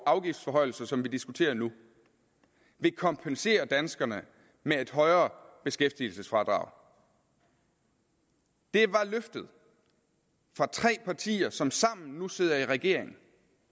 afgiftsforhøjelser som vi diskuterer nu vil kompensere danskerne med et højere beskæftigelsesfradrag det var løftet fra tre partier som sammen nu sidder i regering